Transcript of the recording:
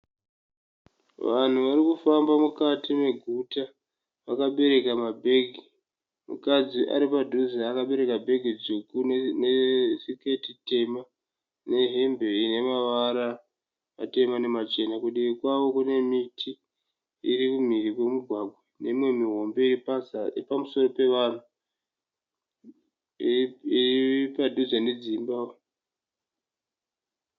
Vanhu vari kufamba mukati meguta. Vakabereka mabhegi. Mukadzi ari padhuze akabereka bhegi dzvuku nesiketi tema nehembe ine mavara matema nemachena. Kudivi kwavo kune miti iri kumhiri kwemugwagwa neimwe mihombe iri pamusoro pevanhu iri padhuze nedzimba.